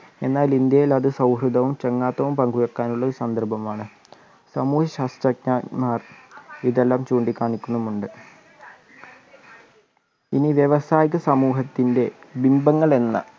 എന്നാൽ ഇന്ത്യയിൽ അത് സൗഹൃദവും ചങ്ങാത്തവും പങ്കുവെക്കാനുള്ള ഒരു സന്ദർഭമാണ് സമൂഹ്യശാസ്ത്രജ്ഞർ മാർ ഇതെല്ലാം ചൂണ്ടികാണിക്കുന്നുമുണ്ട് ഇനി വ്യവസായിക സമൂഹത്തിൻ്റെ ലിംബങ്ങളെന്ന്